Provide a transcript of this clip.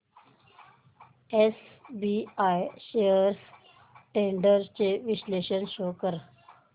SBI shares trends चे विश्लेषण show कर